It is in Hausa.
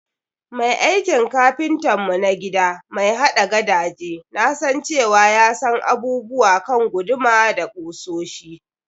Mai aikin kapintan mu na gida mai haɗa gadaje nasan cewa ya san abubuwa kan guduma da kusoshi.